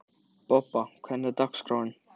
Bobba, hvernig er dagskráin?